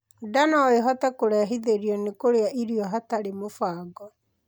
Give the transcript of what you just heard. Ndaa noĩhote kurehithĩrio ni kurĩa irio hatari mubango